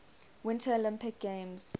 winter olympic games